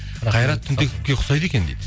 қайрат түнтековке ұқсайды екен дейді